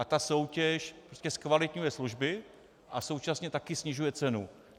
A ta soutěž prostě zkvalitňuje služby a současně taky snižuje cenu.